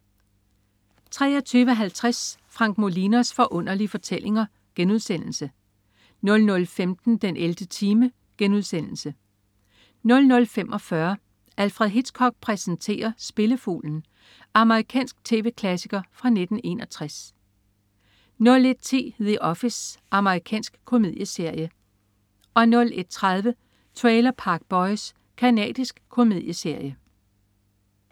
23.50 Frank Molinos Forunderlige Fortællinger* 00.15 den 11. time* 00.45 Alfred Hitchcock præsenterer: Spillefuglen. Amerikansk tv-klassiker fra 1961 01.10 The Office. Amerikansk komedieserie 01.30 Trailer Park Boys. Canadisk komedieserie